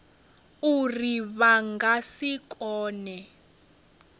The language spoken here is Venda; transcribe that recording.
uri vha nga si kone